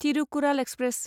Thirukkural express